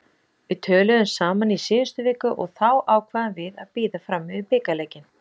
Við töluðum saman í síðustu viku og þá ákváðum við að bíða fram yfir bikarleikinn.